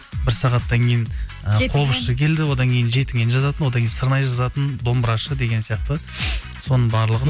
бір сағаттан кейін келді одан кейін жетіген жазатын одан кейін сырнай жазатын домбырашы деген сияқты соның барлығын